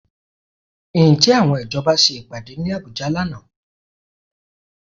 Ǹjẹ́ àwọn ìjọba ṣe ìpàdé ní Àbújá lánàá?